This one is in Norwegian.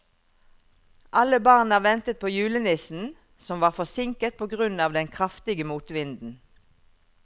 Alle barna ventet på julenissen, som var forsinket på grunn av den kraftige motvinden.